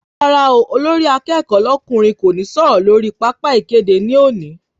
Rárá olórí akẹ́kọ̀ọ́ lọ́kùnrin kò ní sọ̀rọ̀ lórí pápá ìkéde ní òní